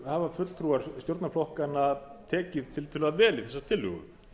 hafa fulltrúar stjórnarflokkanna tekið tiltölulega vel í þessa tillögu